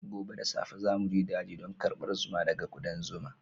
Gobe da safe za mu je daji don karbar zuma daga ƙudan zuma.